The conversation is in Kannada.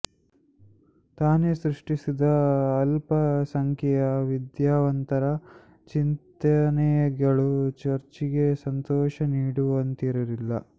ತಾನೇ ಸೃಷ್ಟಿಸಿದ ಅಲ್ಪ ಸಂಖ್ಯೆಯ ವಿದ್ಯಾವಂತರ ಚಿಂತನೆಗಳು ಚರ್ಚಿಗೆ ಸಂತೋಷ ನೀಡುವಂತಿರಲಿಲ್ಲ